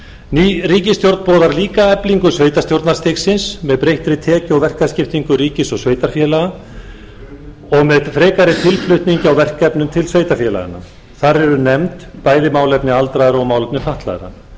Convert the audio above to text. ný ríkisstjórn boðar líka eflingu sveitarstjórnarstigsins með breyttri tekju og verkaskiptingu ríkis og sveitarfélaga og með frekari tilflutningi á verkefnum til sveitarfélaganna þar eru nefnd bæði málefni aldraðra og málefni fatlaðra